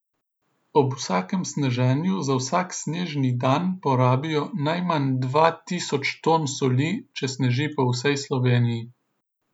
Ob vsakem sneženju za vsak snežni dan porabijo najmanj dva tisoč ton soli, če sneži po vsej Sloveniji.